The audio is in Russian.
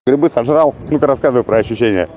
грибы сожрал ну ты рассказывай про ощущения